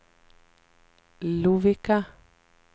Lovikka